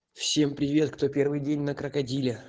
всем привет кто первый день на крокодиле